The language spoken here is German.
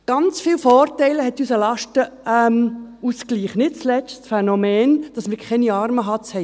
Ganz viele Vorteile hat unser Lastenausgleich, nicht zuletzt das Phänomen, dass wir keine Armenhatz haben.